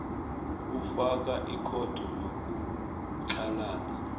kufaka ikhotho yokutlhalana